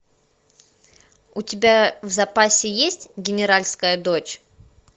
у тебя в запасе есть генеральская дочь